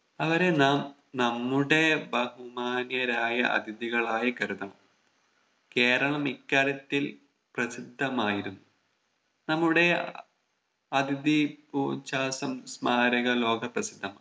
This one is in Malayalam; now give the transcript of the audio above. അവരെ നാം നമ്മുടെ ബഹുമാന്യരായ അതിഥികളായി കരുതണം കേരളം ഇക്കാര്യത്തിൽ പ്രസിദ്ധമായിരുന്നു നമ്മുടെ അഹ് അതിഥി ഭൂ ചാസം സ്മാരക ലോക പ്രസിദ്ധമാണ്